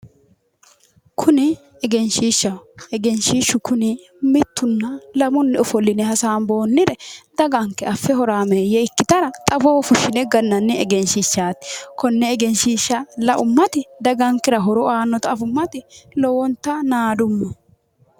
kuni egenshiishshaho egenshiishshu kuni mittunna lamunni ofolline hasaamboonnire daganke affe horaameeyye ikkitara xawoho fushshine gannanni egenshiishshaati konne egeenshiishsha laummati dagankera horo aannota afummati lowonta naadumma.